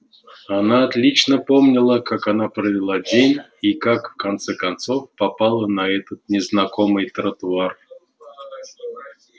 она отлично помнила как она провела день и как в конце концов попала на этот незнакомый тротуар